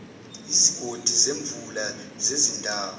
izigodi zemvula zezindawo